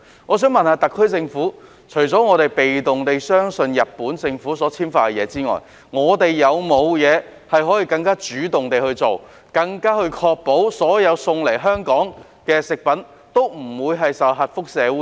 我想問特區政府，除了被動地相信日本政府所簽發的證明書外，可否採取更主動地確保所有運送到香港的食品皆不免受核輻射污染？